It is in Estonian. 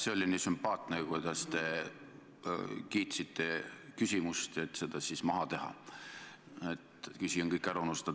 See oli nii sümpaatne, kuidas te kiitsite küsimust, et seda siis maha teha, öeldes, et küsija on kõik ära unustanud.